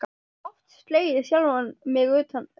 Oft slegið sjálfan mig utan undir.